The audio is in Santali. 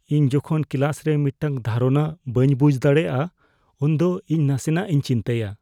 ᱤᱧ ᱡᱚᱠᱷᱚᱱ ᱠᱞᱟᱥ ᱨᱮ ᱢᱤᱫᱴᱟᱝ ᱫᱷᱟᱨᱚᱱᱟ ᱵᱟᱹᱧ ᱵᱩᱡᱷ ᱫᱟᱲᱮᱭᱟᱜᱼᱟ, ᱩᱱᱫᱚ ᱤᱧ ᱱᱟᱥᱮᱱᱟᱜ ᱤᱧ ᱪᱤᱱᱛᱟᱹᱭᱟ ᱾